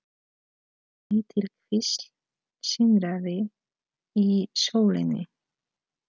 Lítil kvísl sindraði í sólinni.